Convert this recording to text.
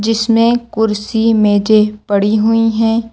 जिसमे कुर्सी मेजे पड़ी हुई हैं।